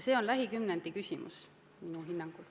See on lähikümnendi küsimus minu hinnangul.